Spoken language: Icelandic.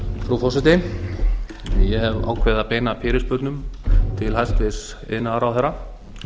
frú forseti ég hef ákveðið að beina fyrirspurnum til hæstvirts iðnaðarráðherra